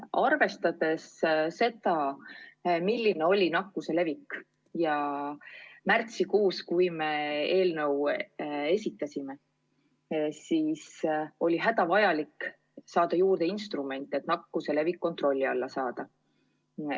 Arvestades seda, milline oli nakkuse levik märtsikuus, kui me eelnõu esitasime, on hädavajalik saada juurde instrumente, et nakkuse levik kontrolli alla saada.